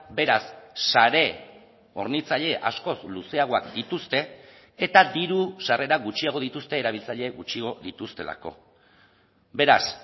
beraz sare hornitzaile askoz luzeagoak dituzte eta diru sarrera gutxiago dituzte erabiltzaile gutxiago dituztelako beraz